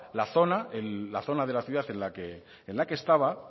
la zona de la ciudad en la que estaba